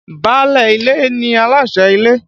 Báálé ilé ni aláṣẹ́ ilé.